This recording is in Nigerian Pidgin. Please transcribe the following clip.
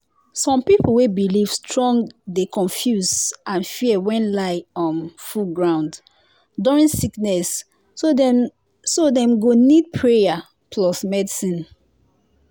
some people wey believe strong dey confuse and fear when lie um full ground during sickness so dem so dem go need prayer plus medicine